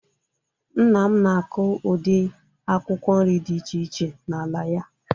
Nna m na-akụ ụdị akwụkwọ nri dị iche iche n'ala ya